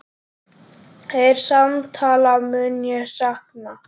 Þeirra samtala mun ég sakna.